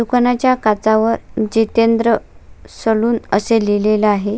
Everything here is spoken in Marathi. दुकानाच्या काचावर जितेंद्र सलून अस लिहलेले आहे.